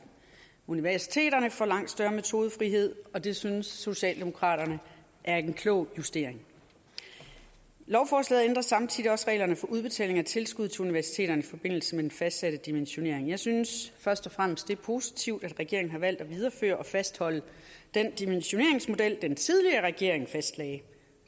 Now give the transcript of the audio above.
universiteterne får langt større metodefrihed og det synes socialdemokraterne er en klog justering lovforslaget ændrer samtidig reglerne for udbetaling af tilskud til universiteterne i forbindelse med den fastsatte dimensionering jeg synes først og fremmest det er positivt at regeringen har valgt at videreføre og fastholde den dimensioneringsmodel den tidligere regering fastlagde